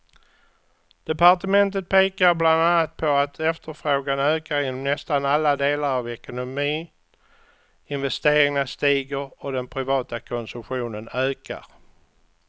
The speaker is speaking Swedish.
Departementet pekar bland annat på att efterfrågan ökar inom nästan alla delar av ekonomin, investeringarna stiger och den privata konsumtionen ökar.